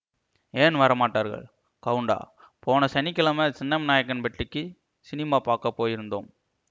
ஏன் வரமாட்டார்கள் கவுண்டா போன சனி கிழமை சின்னமநாயக்கன்பட்டிக்கு சினிமா பார்க்க போயிருந்தோம்